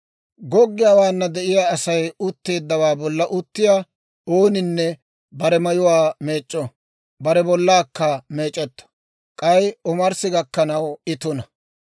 Goggiyaawaana de'iyaa Asay utteeddawaa bolla uttiyaa ooninne bare mayuwaa meec'c'o; bare bollaakka meec'etto; k'ay omarssi gakkanaw I tuna.